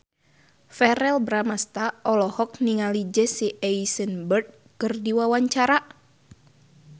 Verrell Bramastra olohok ningali Jesse Eisenberg keur diwawancara